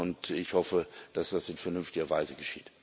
Und ich hoffe, dass das in vernünftiger Weise geschieht.